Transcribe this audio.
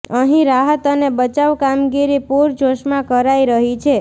અહીં રાહત અને બચાવ કામગીરી પૂરજોશમાં કરાઈ રહી છે